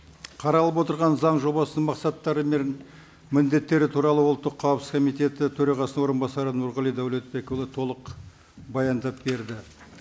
қаралып отырған заң жобасының мақсаттары мен міндеттері туралы ұлттық қауіпсіздік комитеті төрағасы орынбасары нұрғали дәулетбекұлы толық баяндап берді